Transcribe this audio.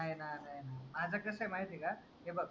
माझा कसं माहिती आहे का हे बघ